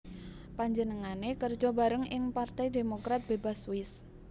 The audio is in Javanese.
Panjenengané kerja bareng ing Partai Demokrat Bebas Swiss